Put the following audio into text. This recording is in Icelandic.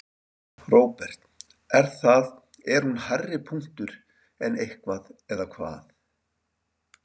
Róbert: Er það, er hún hærri punktur en annað eða hvað?